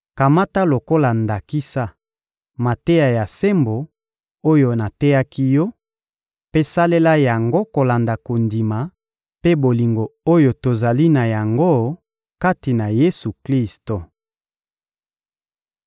Kamata lokola ndakisa, mateya ya sembo oyo nateyaki yo mpe salela yango kolanda kondima mpe bolingo oyo tozali na yango kati na Yesu-Klisto.